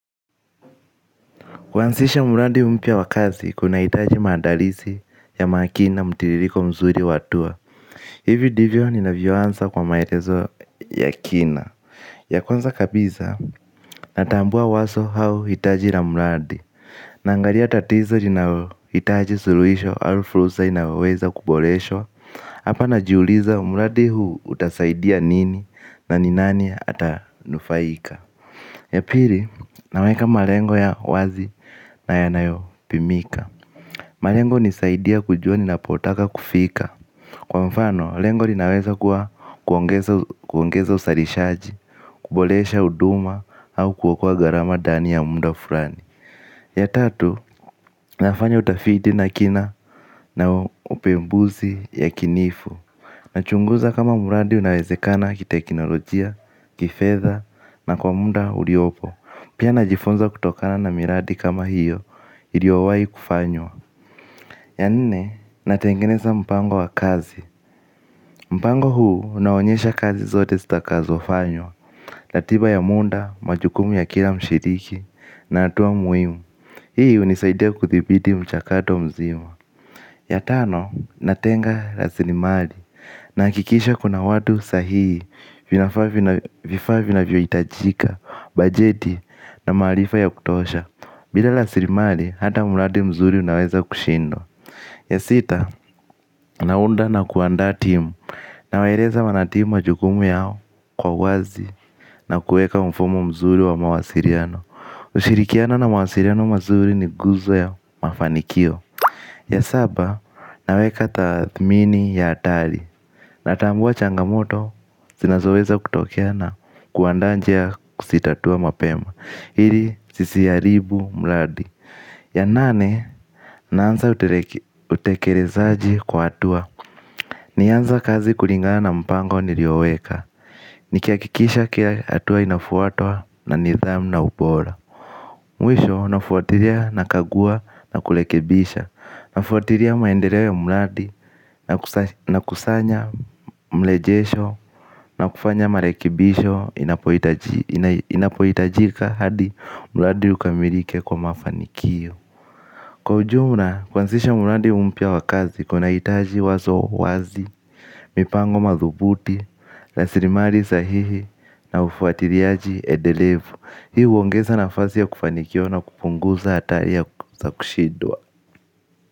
Kuanzisha mradi mpya wa kazi, kunahitaji maandalizi ya makini na mtiririko mzuri wa hatua. Hivi divyo ninavyoanza kwa maelezo ya kina. Ya kwanza kabisa, natambua wazo au hitaji la mradi. Naangalia tatizo linalohitaji suluhisho au fursa inayoweza kuboreshwa hapa najiuliza, muradi huu utasaidia nini na ni nani atanufaika. Ya pili, naweka malengo ya wazi na yanayopimika. Malengo nisaidia kujua ninapotaka kufika. Kwa mfano, lengo linaweza kuwa kuongeza uzalishaji. Kuboresha huduma au kuokoa gharama ndani ya muda fulani. Ya tatu, nafanya utafiti na kina na upembuzi yakinifu. Nachunguza kama muradi unawezekana kiteknolojia, kifedha, na kwa muda uliopo. Pia najifunza kutokana na miradi kama hiyo, iliyowai kufanywa. Ya nne, natengeneza mpango wa kazi mpango huu, unaonyesha kazi zote zitakazofanywa, ratiba ya muda, majukumu ya kila mshiriki, na hatua muhimu. Hii unisaidia kuthibiti mchakato mzima. Ya tano, natenga rasilimali. Nahakikisha kuna watu sahii, vifaa vinavyoijitajika, bajeti na maarifa ya kutosha. Bila rasilimali, hata muradi mzuri unaweza kushindwa. Ya sita, naunda na kuandaa timu. Nawaeleza wanatimu majukumu yao kwa wazi na kuweka mfumo mzuri wa mawasiliano. Ushirikiano na mawasiliano mazuri ni nguzo ya mafanikio. Ya saba, naweka tathmini ya hatari. Natambua changamoto, zinazoweza kutokea na kuandaa njia ya kuzitatua mapema ili ziziharibu muradi. Ya nane, naanza utekelezaji kwa hatua. Naanza kazi kulingana na mpango nilioweka. Nikiakikisha kila hatua inafuatwa na nidhamu na ubora. Mwisho, nafuatilia, nakagua na kurekebisha. Nafuatilia maendeleo ya muradi na kusanya mlejesho. Na kufanya marekebisho inapohitajika. Inapoitajika hadi muradi ukamilike kwa mafanikio. Kwa ujumla, kuanzisha muradi mpya wa kazi kunahitaji wazo wazi, mipango madhubuti, rasilimali sahihi na ufuatiliaji edelevu. Hii huongeza nafasi ya kufanikiwa na kupunguza hatari ya kushidwa.